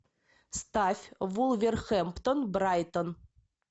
ставь вулверхэмптон брайтон